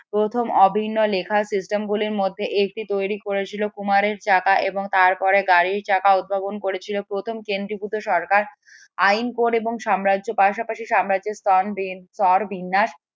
প্রথম অভিন্ন লেখার system গুলির মধ্যে এটি তৈরি করেছিল কুমারের চাকা এবং তারপরে গাড়ির চাকা উদ্ভাবন করেছিল প্রথম কেন্দ্রীভূত সরকার আইন এবং সাম্রাজ্য পাশাপাশি সাম্রাজ্যের বিন্যাস